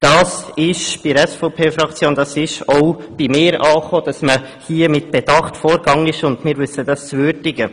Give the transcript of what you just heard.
Es ist bei der SVP-Fraktion und auch bei mir angekommen, dass man hier mit Bedacht vorgegangen ist, und wir wissen das zu würdigen.